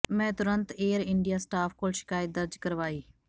ਮੈਂ ਤੁਰਤ air India staff ਕੋਲ ਸ਼ਿਖਾਇਤ ਦਰਜ ਕਰਵਾਈ